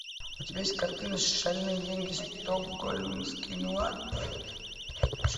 у тебя есть картина шальные деньги стокгольмский нуар